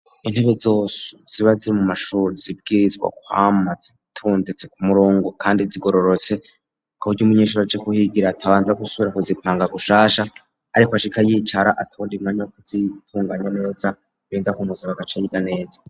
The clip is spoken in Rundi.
intebe zose ziba ziri mu mashuri zibwirizwa kwama zitondetse ku murongo kandi zigororotse kuburyo umunyeshure aje kuhigira atabanza gusubira kuzipanga gushasha ariko ashika yicara atorinda kuzitunganya neza birinda kumusaba gace yiga neza.